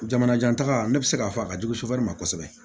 Jamanajan taga ne bɛ se k'a fɔ a ka jugu sufɛ kosɛbɛ